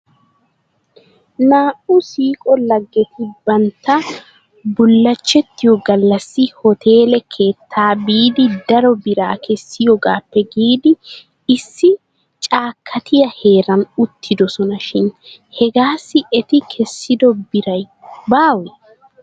Naa'u siiqo laggeti bantta bullashettiyoo gallassi hoteele keettaa biidi daro biraa kessiyoogaappe giidi issi caakkatiyaa heeran oottidosona shin hegaassi eti kessido biri baawee?